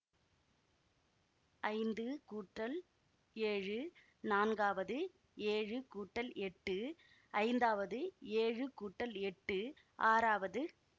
ஐந்து கூட்டல் ஏழு நான்காவது ஏழு கூட்டல் எட்டு ஐந்தாவது ஏழு கூட்டல் எட்டு ஆறாவது